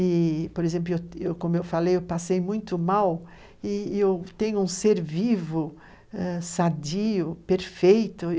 E, por exemplo, como eu falei, eu passei muito mal e eu tenho um ser vivo, sadio, perfeito.